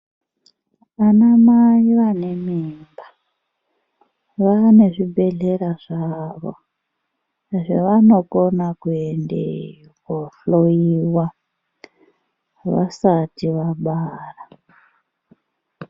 Vana mai vane mimba vane zvibhedhlera zvavo zvavanokona kuenda kundohloiwa vasati vabara.